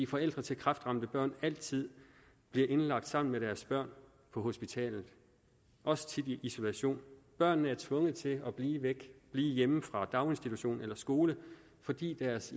forældre til kræftramte børn altid indlagt sammen med deres børn på hospitalet også tit i isolation børnene er tvunget til at blive væk blive hjemme fra daginstitution eller skole fordi deres